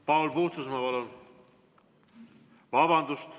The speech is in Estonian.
Paul Puustusmaa, palun!